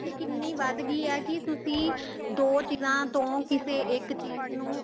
ਕਿੰਨੀ ਵੱਧ ਗਈ ਆ ਕੀ ਤੁਸੀਂ ਦੋ ਚੀਜ਼ਾਂ ਤੋਂ ਕਿਸੇ ਇੱਕ ਚੀਜ਼ ਨੂੰ